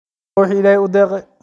Qofba wixi illahi uudeqe .